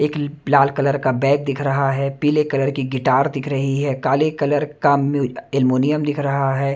एक ल लाल कलर का बैग दिख रहा है पीले कलर की गिटार दिख रही है काले कलर का मियूल एलुमिनियम दिख रहा है।